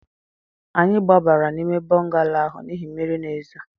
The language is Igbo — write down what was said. Anyị gbabara n'ime bọngalo ahụ n'ihi na mmiri na-ezo